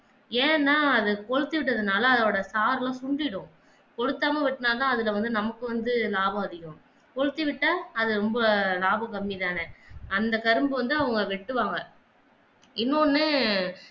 ஏன்னா அத கொழுத்தி விட்டதனால அதோட சார் எல்லாம் சுண்டிடும் கொளுத்தாம வெட்டினா தான் அதுல நமக்கு வந்து லாபம் அதிகம் கொடுத்துவிட்டார் அதுல ரொம்ப லாபம் கம்மி தானே அந்த கரும்ப வந்து அவங்க வெட்டுவாங்க இன்னொன்னு